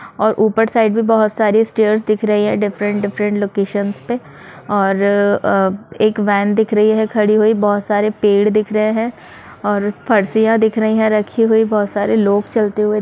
और ऊपर साइड में बहुत सारे स्टैर्स दिख रहे है डिफरेंट डिफरेंट लोकेशन्स पे और अ एक वेन दिख रही है खड़ी हुई बहुत सारे पेड़ दिख रहे है और फर्शियां दिख रही है बहुत सारे लोग चलते हुए --